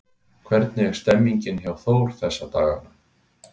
Hvernig er stemmningin hjá Þór þessa dagana?